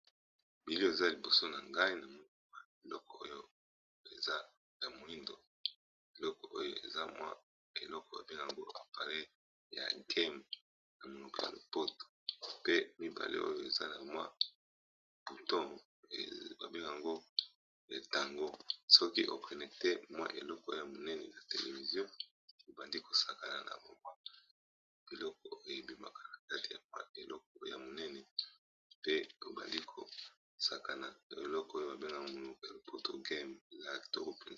Eliki eza liboso na ngai na moa kya moindo eloko oyo eza mwa eloko babengango aparey ya game na monuceanopoto pe mibale oyo eza na mwa puto babengango entango soki oprenecte mwa eloko ya monene ya televizio ebandi kosakana na bawa eloko eyebimaka na kati ya mwa eleko ya monene pe obandi kosakanaeloko oyo babengago monukealopoto game ya actor.